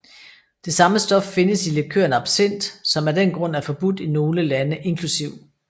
Det samme stof findes i likøren absinth som af den grund er forbudt i nogle lande inkl